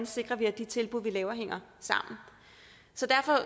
sikrer at de tilbud vi laver hænger sammen